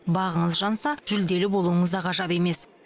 бағыңыз жанса жүлделі болуыңыз да ғажап емес